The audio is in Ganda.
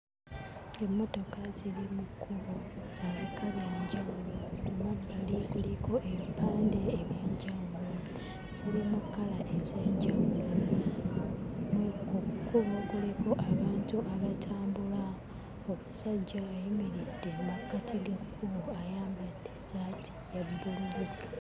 Emmotoka ziri mu kkubo, za bika bya njawulo. Ku mabbali kuliko ebipande eby'enjawulo, ziri mu kkala ez'enjawulo. Mu ku kkubo kuliko abantu abatambula, omusajja ayimiridde mu makkati g'ekkubo ayambadde essaati ya bbululu.